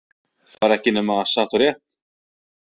Það var ekki nema satt og rétt.